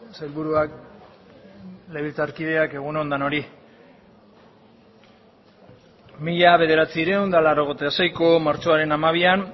sailburuak legebiltzarkideak egun on denoi mila bederatziehun eta laurogeita seiko martxoaren hamabian